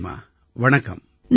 நன்றிம்மா வணக்கம்